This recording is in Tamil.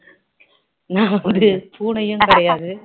பூனையும் கிடையாது